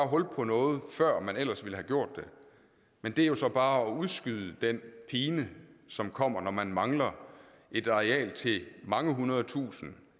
hul på noget før man ellers ville have gjort det men det er så bare at udskyde den pine som kommer når man mangler et areal til mange hundrede tusinde